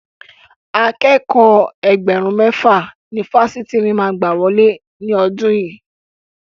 Akẹ́kọ̀ọ́ Ẹgbẹ̀rún mẹ́fà ni Fásitì mi máa gbà wọlé ní ọdún yìí.